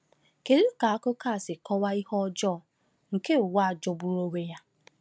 Kedu ka akụkọ a si kọwaa ihe ọjọọ nke ụwa a jọgburu onwe ya?